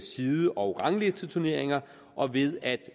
side og ranglisteturneringer og ved at